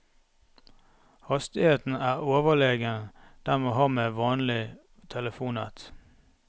Hastigheten er overlegen den man har med vanlig telefonnett.